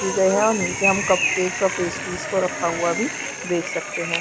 ये यहाँ हम नीचे हम कप केक और पेस्ट्री को भी रखा हुआ देख सकते है।